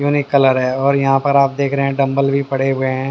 Unique colour है और यहां पर आप देख रहे हैं डम्बल भी पड़े हुए हैं।